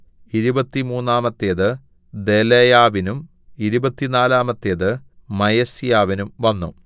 ഇരുപത്തിമൂന്നാമത്തേത് ദെലായാവിന്നും ഇരുപത്തിനാലാമത്തേത് മയസ്യാവിനും വന്നു